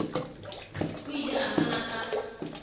o ile a fana ka